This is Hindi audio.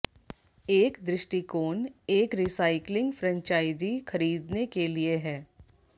एक दृष्टिकोण एक रीसाइक्लिंग फ्रेंचाइजी खरीदने के लिए है